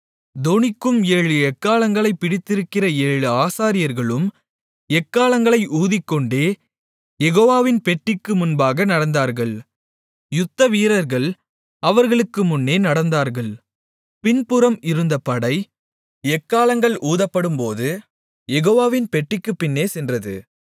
தொனிக்கும் ஏழு எக்காளங்களைப் பிடித்திருக்கிற ஏழு ஆசாரியர்களும் எக்காளங்களை ஊதிக்கொண்டே யெகோவாவின் பெட்டிக்கு முன்பாக நடந்தார்கள் யுத்த வீரர்கள் அவர்களுக்கு முன்னே நடந்தார்கள் பின்புறம் இருந்த படை எக்காளங்கள் ஊதப்படும்போது யெகோவாவின் பெட்டிக்குப் பின்னே சென்றது